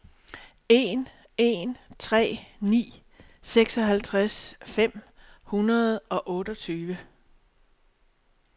en en tre ni seksoghalvtreds fem hundrede og otteogtyve